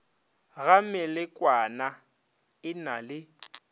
ga melekwana e na le